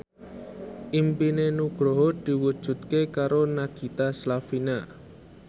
impine Nugroho diwujudke karo Nagita Slavina